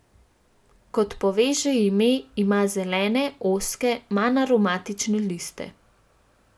Kot pove že ime, ima zelene, ozke, manj aromatične liste.